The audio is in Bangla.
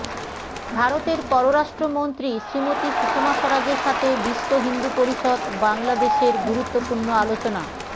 ভারতের পররাষ্ট্র মন্ত্রী শ্রীমতী সুষমা স্বরাজের সাথে বিশ্ব হিন্দু পরিষদ বাংলাদেশর গুরুত্বপূর্ণ অালোচনা